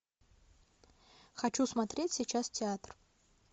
хочу смотреть сейчас театр